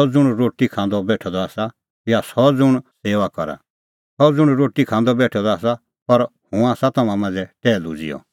सह ज़ुंण रोटी खांदअ बेठअ द आसा या सह ज़ुंण सेऊआ करा सह ज़ुंण रोटी खांदअ बेठअ द आसा पर हुंह आसा तम्हां मांझ़ै टैहलू ज़िहअ